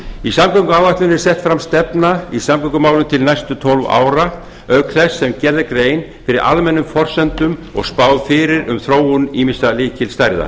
í samgönguáætluninni er sett fram stefna í samgöngumálum til næstu tólf ára auk þess sem gerð er grein fyrir almennum forsendum og spáð fyrir um þróun ýmissa lykilstærða